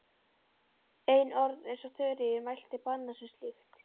En orð eins og Þuríður mælti banna mér slíkt.